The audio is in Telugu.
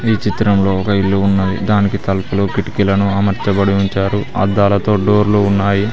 ఈ చిత్రంలో ఒక ఇల్లు ఉన్నది దానికి తలుపులు కిటికీలను అమర్చబడి ఉంచారు అద్దాలతో డోర్లు ఉన్నాయి.